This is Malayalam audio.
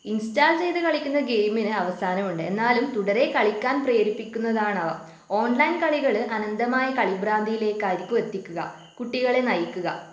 ഇൻസ്റ്റാൾ ചെയ്ത് കളിക്കുന്ന ഗെയിമിന് അവസാനം ഉണ്ട് എന്നാലും തുടരെ കളിക്കാൻ പ്രേരിപ്പിക്കുന്നതാണ് അവ ഓൺലൈൻ കളികള് അനന്തമായ കളിഭ്രാന്തിയിലേക്കായിരിക്കും എത്തിക്കുക കുട്ടികളെ നയിക്കുക